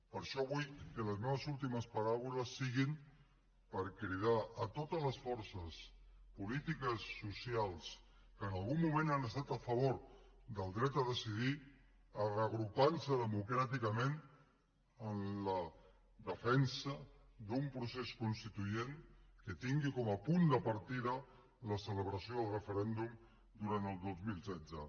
per això vull que les meves últimes paraules siguin per cridar totes les forces polítiques socials que en algun moment han estat a favor del dret a decidir a reagrupar nos democràticament en la defensa d’un procés constituent que tingui com a punt de partida la celebració del referèndum durant el dos mil setze